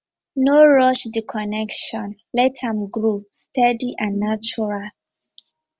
no rush the connection let am grow steady and natural